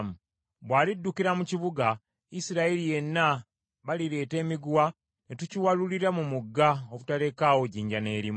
Bw’aliddukira mu kibuga, Isirayiri yenna, balireeta emiguwa, ne tukiwalulira mu mugga obutalekawo jjinja n’erimu.”